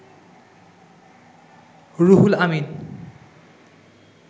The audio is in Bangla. রুহুল আমিন